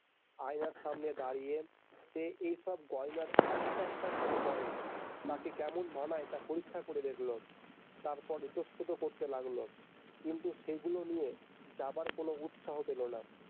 আয়নার সামনে দাড়িয়ে সে এইসব গয়নার একটা একটা করে পরে তাকে কেমন মানায় তা পরীক্ষা করে দেখলো তারপর ইতস্তত করতে লাগলো কিন্তু সেগুলো নিয়ে যাবার কোনো উৎসাহ পেলো না।